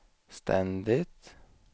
ständigt